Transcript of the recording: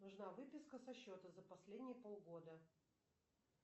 нужна выписка со счета за последние полгода